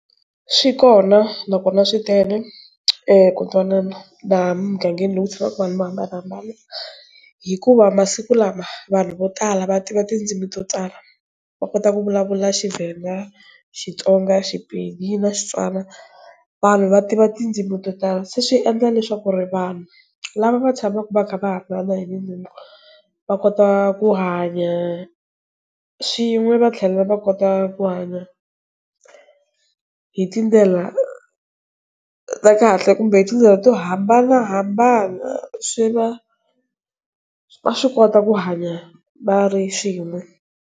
Swi kona nakona swi tele eku twanana laha mugangeni loku tshamaka vanhu vo hambanahambana hikuva masiku lama vanhu vo tala va tiva tindzimi to tala va kota ku vulavula Tshivenda, Xitsonga Xipedi na Xitswana vanhu va tiva tindzimi to tala se swi endla leswaku ri vanhu lava va tshamaka va kha va va kota ku hanya swin'we va tlhela va kota ku hanya hi tindlela ta kahle kumbe hi tindlela to hambanahambana swi va, va swi kota ku hanya va ri swin'we.